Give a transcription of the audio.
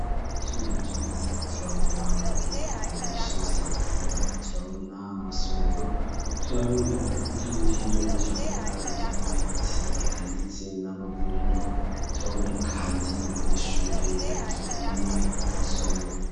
Turevye neza turabona inyubako nyinshi zitandukanye turabona amasomero turabona ivyuburiro turabona ivyubuyobotsi eka ndetse n'amavuriro turabona kandi n'abanyeshure bagiye ku masomo.